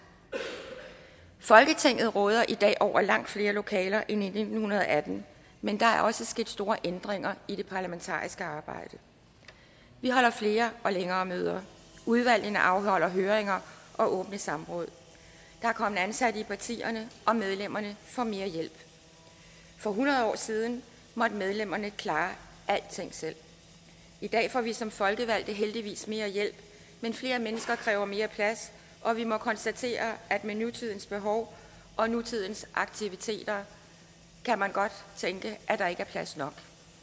folketinget råder i dag over langt flere lokaler end i nitten atten men der er også sket store ændringer i det parlamentariske arbejde vi holder flere og længere møder udvalgene afholder høringer og åbne samråd der er kommet ansatte i partierne og medlemmerne får mere hjælp for hundrede år siden måtte medlemmerne klare alting selv i dag får vi som folkevalgte heldigvis mere hjælp men flere mennesker kræver mere plads og vi må konstatere at med nutidens behov og nutidens aktiviteter kan man godt tænke at der ikke er plads nok